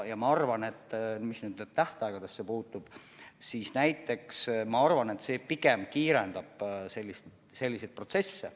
Ja mis tähtaegadesse puutub, siis ma arvan, et see pigem kiirendab selliseid protsesse.